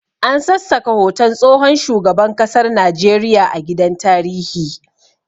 An sassaka hoton tsohon shugaban kasar Najeriya a gidan tarihi